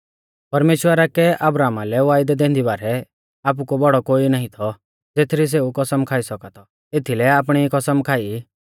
परमेश्‍वरा कै अब्राहमा लै वायदौ दैंदी बारै आपु कु बौड़ौ कोई नाईं थौ ज़ेथरी सेऊ कसम खाई सौका थौ एथीलै आपणी ई कसम खाई